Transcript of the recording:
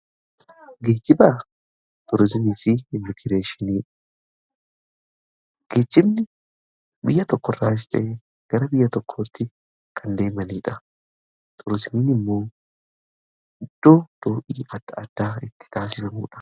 Geejjibni biyya tokko irraa gara biyya tokkootti kan imalanidha. turizimiin immoo iddoo daawwannaan adda addaa itti taasifamudha.